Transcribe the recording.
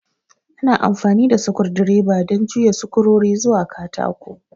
Ana amfani da sukur direba don juya sukurori zuwa katako